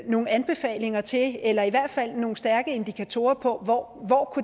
nogle anbefalinger til eller i hvert fald nogle stærke indikatorer på hvor